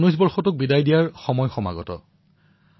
২০১৯ বৰ্ষক বিদায় দিয়াৰ ক্ষণ আমাৰ মাজত উপস্থিত হৈছে